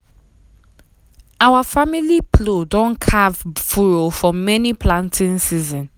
our family plow don carve furrow for many planting season.